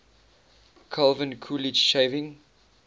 calvin coolidge shaving